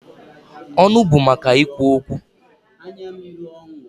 Ọnụ bụ maka ikwu okwu.